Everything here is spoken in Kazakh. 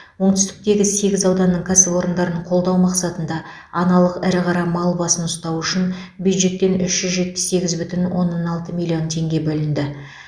оңтүстіктегі сегіз ауданның кәсіпорындарын қолдау мақсатында аналық ірі қара мал басын ұстау үшін бюджеттен үш жүз жетпіс сегіз бүтін оннан алты миллион теңге бөлінді